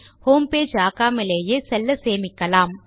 homepage ஆக்காமலே செல்ல சேமிக்கலாம்